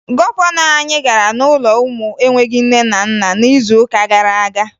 Gọvanọ anyị gara n'ụlọ ụmụ enweghi nne na nna n'izuụka gara aga